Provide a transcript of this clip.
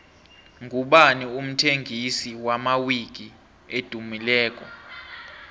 ngubani umthengisi wamawiki edumileko